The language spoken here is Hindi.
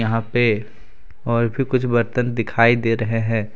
यहां पे और भी कुछ बर्तन दिखाई दे रहे हैं।